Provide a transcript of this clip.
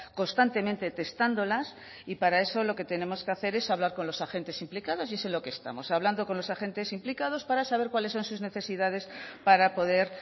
constantemente testándolas y para eso lo que tenemos que hacer es hablar con los agentes implicados y es en lo que estamos hablando con los agentes implicados para saber cuáles son sus necesidades para poder